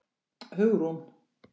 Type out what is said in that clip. Hugrún